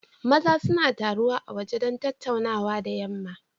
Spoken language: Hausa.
Maza suna taruwa a waje don tattaunawa da yamma.